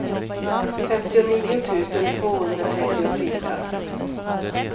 femtionio tusen tvåhundratrettiofyra